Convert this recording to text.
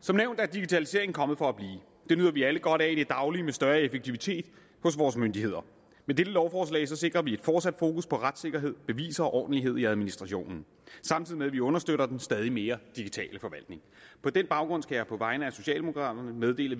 som nævnt er digitaliseringen kommet for at blive det nyder vi alle godt af i det daglige med større effektivitet hos vores myndigheder med dette lovforslag sikrer vi et fortsat fokus på retssikkerhed beviser og ordentlighed i administrationen samtidig med at vi understøtter den stadig mere digitale forvaltning på den baggrund skal jeg på vegne af socialdemokraterne meddele